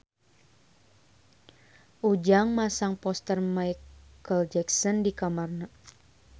Ujang masang poster Micheal Jackson di kamarna